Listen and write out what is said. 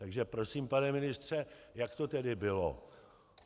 Takže prosím, pane ministře, jak to tedy bylo?